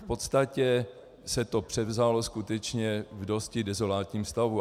V podstatě se to převzalo skutečně v dosti dezolátním stavu.